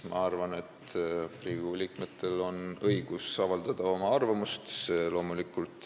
Ma arvan, et Riigikogu liikmetel on õigus avaldada oma arvamust.